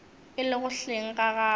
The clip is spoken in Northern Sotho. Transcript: e lego hleng ga gagwe